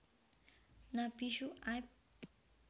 Nabi Syuaib